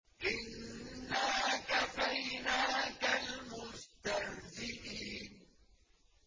إِنَّا كَفَيْنَاكَ الْمُسْتَهْزِئِينَ